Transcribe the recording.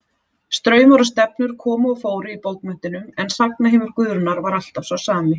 Straumar og stefnur komu og fóru í bókmenntunum en sagnaheimur Guðrúnar var alltaf sá sami.